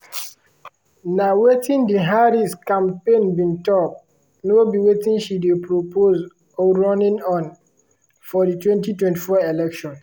na wetin di harris campaign bin tok “no be wetin she dey propose or running on” for di 2024 election.